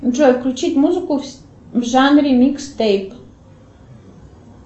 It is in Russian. джой включить музыку в жанре микстейп